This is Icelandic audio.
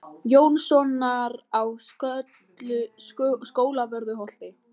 Jónssonar á Skólavörðuholti.